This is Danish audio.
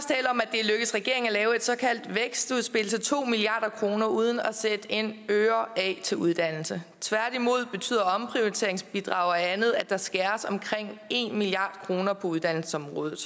er lykkedes regeringen at lave et såkaldt vækstudspil til to milliard kroner uden at sætte en øre af til uddannelse tværtimod betyder omprioriteringsbidrag og andet at der skæres omkring en milliard kroner på uddannelsesområdet